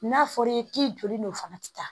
N'a fɔra i ye k'i joli n'o fana ti taa